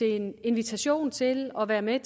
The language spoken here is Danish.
en invitation til at være med